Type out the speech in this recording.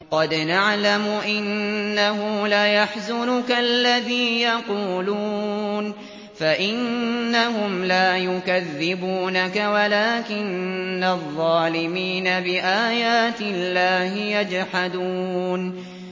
قَدْ نَعْلَمُ إِنَّهُ لَيَحْزُنُكَ الَّذِي يَقُولُونَ ۖ فَإِنَّهُمْ لَا يُكَذِّبُونَكَ وَلَٰكِنَّ الظَّالِمِينَ بِآيَاتِ اللَّهِ يَجْحَدُونَ